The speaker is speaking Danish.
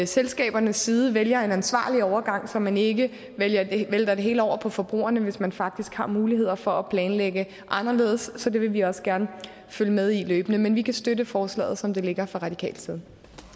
selskabernes side vælger en ansvarlig overgang så man ikke vælter det hele over på forbrugerne hvis man faktisk har muligheder for at planlægge anderledes så det vil vi også gerne følge med i løbende men vi kan støtte forslaget som det ligger fra radikal side